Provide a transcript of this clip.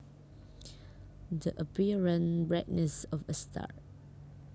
The apparent brightness of a star